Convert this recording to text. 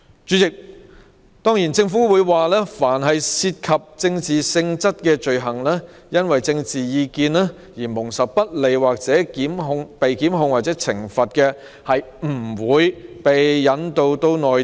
主席，政府表示，凡涉及政治性質的罪行因政治意見而蒙受不利或被檢控或懲罰者，不會被引渡至內地。